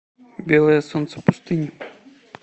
белое солнце пустыни